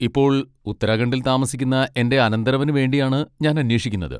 ഇപ്പോൾ ഉത്തരാഖണ്ഡിൽ താമസിക്കുന്ന എന്റെ അനന്തരവന് വേണ്ടിയാണ് ഞാൻ അന്വേഷിക്കുന്നത്.